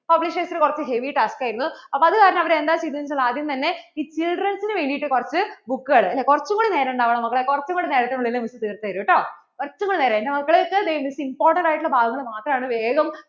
publishers കുറച്ചു heavy task ആയിരുന്നു അപ്പോൾ അത് കാരണം എന്താ ചെയ്തേന്ന് വച്ചാൽ ഈ children's നു വേണ്ടിട്ട്കു റച്ചു book കൾ കുറച്ചും കൂടി നേരം താ മക്കളെ കുറിച്ചും കൂടി നേരത്തിനു ഉള്ളിൽ Miss തീർത്തു തരുംട്ടോ കുറിച്ചും കൂടി നേരം. എന്‍റെ മക്കള് Missimportant ആയിട്ടുള്ള